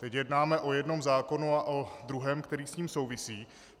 Teď jednáme o jednom zákonu a o druhém, který s ním souvisí.